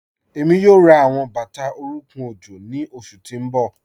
Ẹmi yoo rá awọn bata orúnkùn ojó ni oṣù tí n bọ.